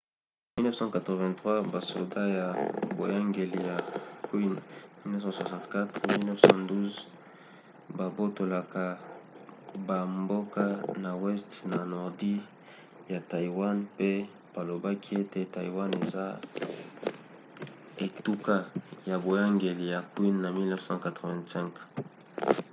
na 1683 basoda ya boyangeli ya qing 1644-1912 babotolaka bamboka ya weste na ya nordi ya taiwan pe balobaki ete taiwan eza etuka ya boyangeli ya qing na 1885